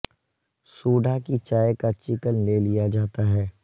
soda کی چائے کا چکن لے لیا جاتا ہے